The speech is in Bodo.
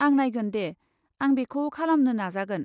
आं नायगोन दे, आं बेखौ खालामनो नाजागोन।